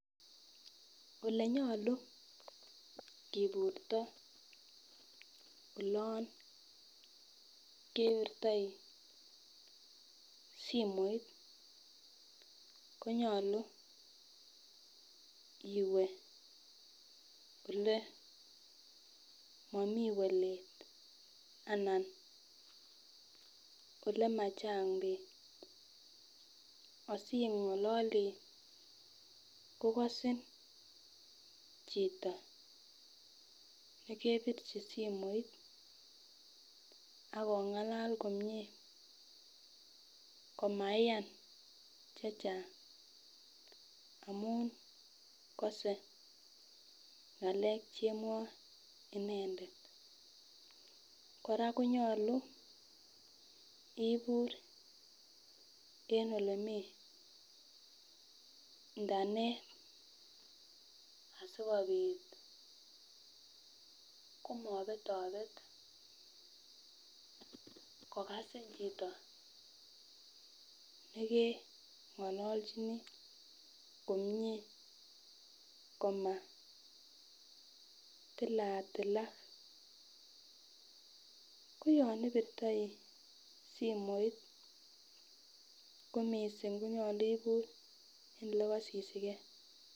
Olenyolu kiburto olon kepirtoi simoit konyolu iwee ole momii bolet anan ole machang bik asingoli kokosin chito nekepirchi simoit ak omgalal komie komaiyan chechang amun kose ngale chemwoe inendet. Koraa konyolu ibur en olemii internet sikopit komobetobet ngokasin chito nekengololchini komie komatila tilak ko yon ipirtoi simoit ko missing konyolu ibur en ole kosisigee.